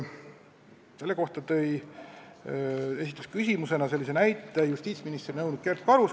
Selle kohta tõi näite justiitsministri nõunik Kert Karus.